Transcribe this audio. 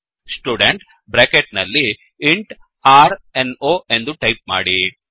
student bracket ನಲ್ಲಿ int r no ರ್ number ಎಂದು ಟೈಪ್ ಮಾಡಿ